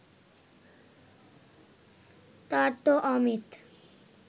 তার তো অমিত